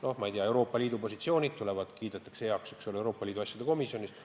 Näiteks Euroopa Liidu positsioonid kiidetakse heaks Euroopa Liidu asjade komisjonis.